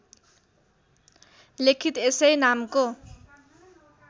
लेखित यसै नामको